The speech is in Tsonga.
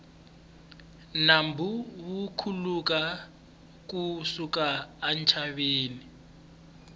nambu wu khuluka ku suka entshaveni